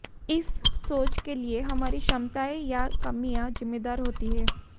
इस सोच के लिए हमारी क्षमताएं या कमियां जिम्मेदार होती हैं